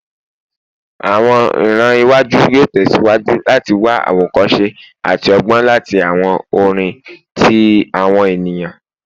Awọn iran iwaju yoo tẹsiwaju lati wa awokose ati ọgbọn lati awọn orin ti awọn eniyan eniyan